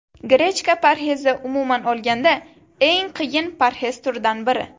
Grechka parhezi Umuman olganda, eng qiyin parhez turidan biri.